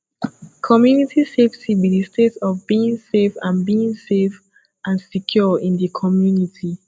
community safety be di state of being safe and being safe and secure in di community